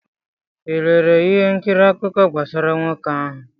ị lere ihe nkiri akụkọ gbasara nwoke ahụ?